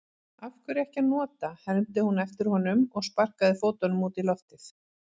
Af hverju ekki að nota, hermdi hún eftir honum og sparkaði fótunum út í loftið.